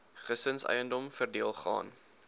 gesinseiendom verdeel gaan